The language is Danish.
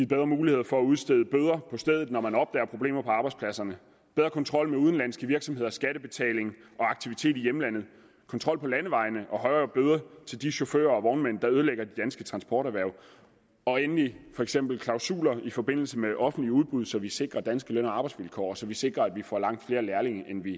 bedre muligheder for at udstede bøder på stedet når man opdager problemer på arbejdspladserne bedre kontrol med udenlandske virksomheders skattebetaling og aktivitet i hjemlandet kontrol på landevejene og højere bøder til de chauffører og transporterhverv og endelig for eksempel klausuler i forbindelse med offentlige udbud så vi sikrer danske løn og arbejdsvilkår og så vi sikrer at vi får langt flere lærlinge end vi